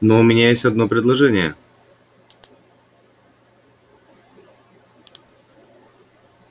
но у меня есть одно предложение